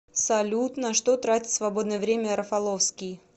салют на что тратит свободное время рафаловский